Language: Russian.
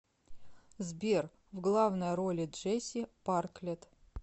сбер в главной роли джеси парклет